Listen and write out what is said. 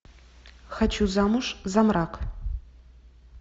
хочу замуж за мрак